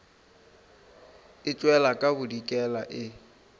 e tšwela ka bodikela e